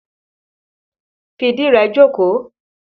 Fi ìdí rẹ jókòó!